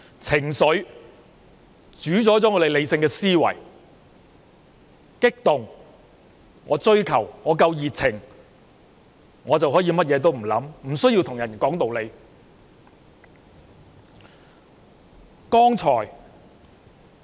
情緒主宰了理性思維，只要激動、想追求、滿有熱情，就可以甚麼都不想，不需要講道理。